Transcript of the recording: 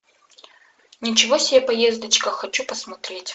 ничего себе поездочка хочу посмотреть